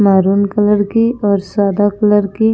maroon colour की और सादा कलर की--